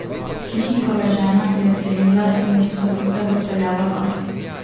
Hišnikova žena je odklenila in ju po stopnicah odpeljala gor.